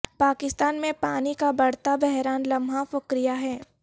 پاکستان میں پانی کا بڑھتا بحران لمحہ فکریہ ہے